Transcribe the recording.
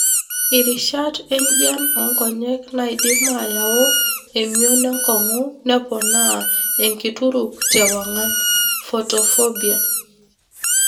Irishat enjian onkonyek naidim ayau emion enkongu nepoona enkituruk te wangan. (photophobia).